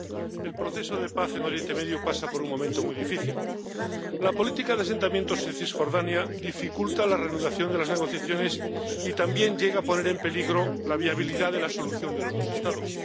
Señor presidente, el proceso de paz en Oriente Medio pasa por un momento muy difícil. La política de asentamientos en Cisjordania dificulta la reanudación de las negociaciones y también llega a poner en peligro la viabilidad de la solución de los dos Estados.